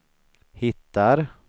hittar